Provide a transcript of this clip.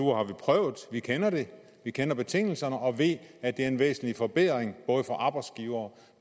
uger har vi prøvet vi kender det vi kender betingelserne og ved at det er en væsentlig forbedring både for arbejdsgivere